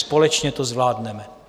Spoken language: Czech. Společně to zvládneme.